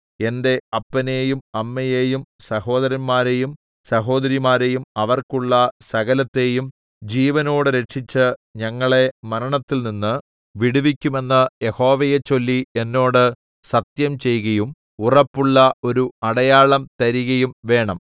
എന്റെ അപ്പനെയും അമ്മയെയും സഹോദരന്മാരെയും സഹോദരിമാരെയും അവർക്കുള്ള സകലത്തെയും ജീവനോടെ രക്ഷിച്ച് ഞങ്ങളെ മരണത്തിൽനിന്ന് വിടുവിക്കുമെന്ന് യഹോവയെച്ചൊല്ലി എന്നോട് സത്യംചെയ്കയും ഉറപ്പുള്ള ഒരു അടയാളംതരികയും വേണം